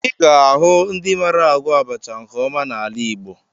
Ị ga-ahụ ndị mara agwọ abacha nke ọma n'ala Igbo